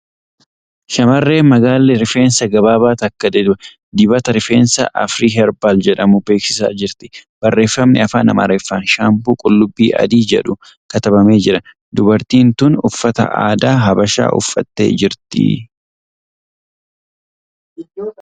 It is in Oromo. Shamarreen magaalli rifeensa gabaabaa takka dibata rifeensaa ' Afrii Heerbaal ' jedhamu beeksisaa jirti. Barreeffamni Afaan Amaariffaan ' Shaampuu qullubbii Adii ' jedhu katabamee jira. Durbartiin tun uffata aadaa Habashaa uffattee jirti.